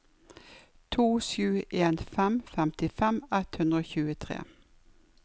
to sju en fem femtifem ett hundre og tjuetre